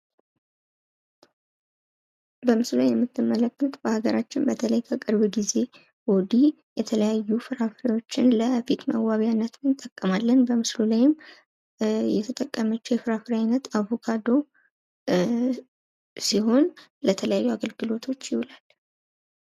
በምስሉ ላይ የምትመለከት በሃገራችን በተለይ ከቅርብ ጊዜ ወዲህ የተለያዩ ፍራፍሬዎችን ለፊት መዋቢያነት እንጠቀማለን ፤ በምስሉ ላይም የተጠቀመችዉ የፍራፍሬ አይነት አቮካዶ ሲሆን ፤ ለተለያዩ አገልግሎቶች ይውላል።